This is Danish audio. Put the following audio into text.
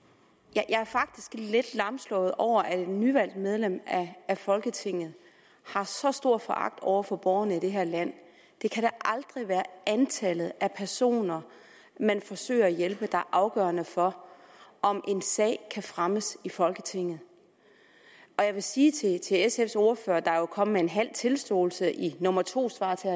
jeg er faktisk lidt lamslået over at et nyvalgt medlem af folketinget har så stor foragt over for borgerne i det her land det kan da aldrig være antallet af personer man forsøger at hjælpe er afgørende for om en sag kan fremmes i folketinget jeg vil sige til sfs ordfører der jo kom med halv tilståelse i nummer to svar til